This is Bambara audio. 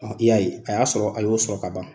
I y'a ye. A y'a sɔrɔ, a y'o sɔrɔ ka ban.